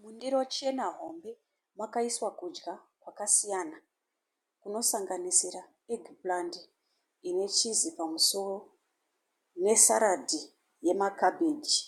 Mundiro chena hombe, makaiswa kudya kwakasiyana kunosanganisa egiplandi ine chizi pamusoro nesaradhi yemakabheji